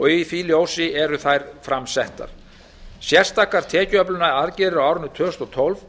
í því ljósi eru þær fram settar sérstakar tekjuöflunaraðgerðir á árinu tvö þúsund og tólf